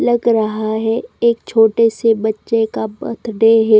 Luck रहा है एक छोटे से बच्चे का बर्थडे है।